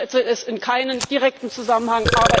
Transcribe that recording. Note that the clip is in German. Ich setze es in keinen direkten Zusammenhang.